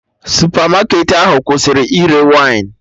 Supermarket ahụ kwụsịrị ire wine